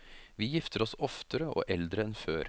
Vi gifter oss oftere og eldre enn før.